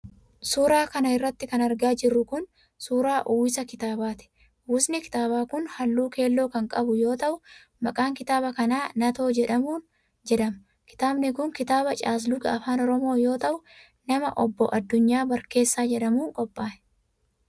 Suura kana irratti kan argaa jirru kun ,suura uwwisa kitaabaatii. Uwwisni kitaabaa kun, haalluu keelloo kan qabau yoo ta'u, maqaan kitaaba kanaa Natoo jedhama. Kitaabni kun kitaaba caasluga afaan oromoo yoo ta'u, nama Obbo Addunyaa Barkeessaa jedhamuun qophaa'e.